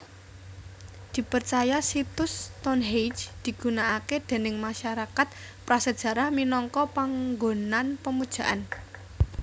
Dipercaya situs Stonehenge digunakake déning masarakat prasejarah minangka panggonan pemujaan